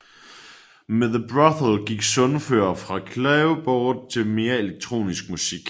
Med The Brothel gik Sundfør fra klaverbåret til mere elektronisk musik